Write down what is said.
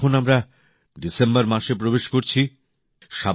বন্ধুরা এখন আমরা ডিসেম্বর মাসে প্রবেশ করছি